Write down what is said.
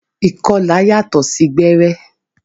Ìkọlà yàtọ sí gbẹrẹ.